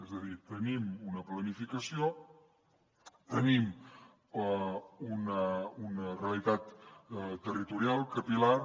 és a dir tenim una planificació tenim una realitat territorial capil·lar